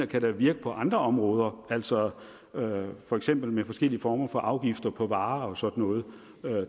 kan virke på andre områder altså for eksempel med forskellige former for afgifter på varer og sådan noget